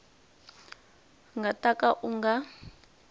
nga ta ka u nga